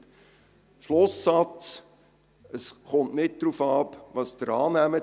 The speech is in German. Mein Schlusssatz: Es kommt nicht darauf an, was Sie annehmen.